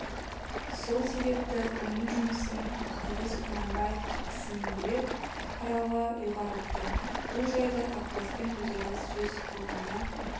сол себепті оның жұмысын қырғыз құнанбаев ісінен бөлек қарауға ұйғарыпты бұл жайды ақбаспен өзара сөз қылғанда